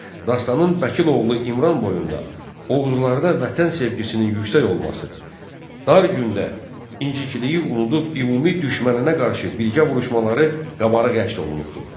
Dastanın Bəkil oğlu İmran boyunda Oğuzlarda vətən sevgisinin yüksək olması, dar gündə incikliyi unudub ümumi düşməninə qarşı birgə vuruşmaları qabarıq əks olunubdur.